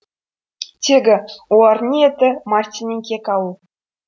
тегі олардың ниеті мартиннен кек алу